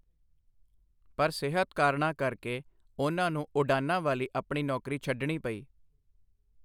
ਪਰ ਸਿਹਤ ਕਾਰਣਾਂ ਕਰ ਕੇ, ਉਨ੍ਹਾਂ ਨੂੰ ਉਡਾਣਾਂ ਵਾਲੀ ਆਪਣੀ ਨੌਕਰੀ ਛੱਡਣੀ ਪਈ।